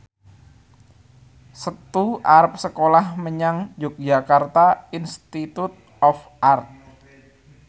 Setu arep sekolah menyang Yogyakarta Institute of Art